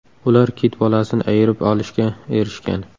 Ular kit bolasini ayirib olishga erishgan.